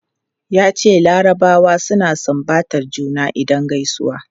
Yace larabawa suna sumbatar juna idan gaisuwa.